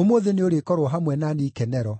ũmũthĩ nĩũrĩkorwo hamwe na niĩ ikenero.”